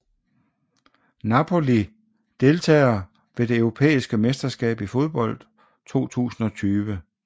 Napoli Deltagere ved det europæiske mesterskab i fodbold 2020